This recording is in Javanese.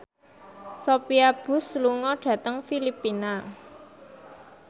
Sophia Bush lunga dhateng Filipina